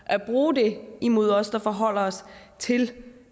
at bruge det imod os der forholder os til